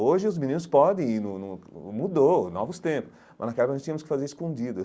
Hoje os meninos podem ir no no, mudou, novos tempos, mas naquela época a gente tínhamos que fazer escondido.